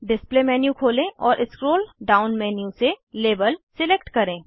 display menu खोलें और scroll down menu से लाबेल सिलेक्ट करें